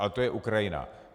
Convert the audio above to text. Ale to je Ukrajina.